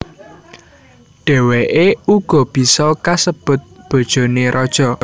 Dhèwèké uga bisa kasebut bojoné raja